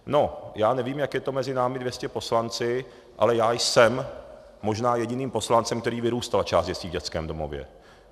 No já nevím, jak je to mezi námi 200 poslanci, ale já jsem možná jediným poslancem, který vyrůstal část dětství v dětském domově.